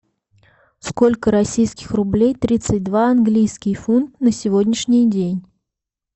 сколько российских рублей тридцать два английский фунт на сегодняшний день